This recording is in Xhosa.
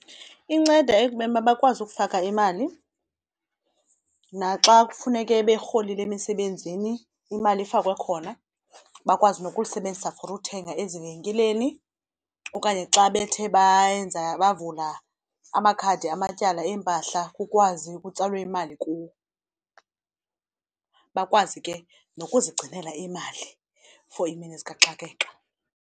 Inceda ekubeni uba bakwazi ukufaka imali naxa kufuneke berholile emisebenzini imali ifakwe khona bakwazi nokuyisebenzisa for uthenga ezivenkileni. Okanye xa bethe bayenza bavula amakhadi amatyala eempahla kukwazi kutsalwe imali kuwo, bakwazi ke nokuzigcinela imali for iimini zikaxakeka.